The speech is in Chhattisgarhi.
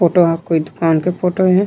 फोटो म कोई दुकान के फोटो हे।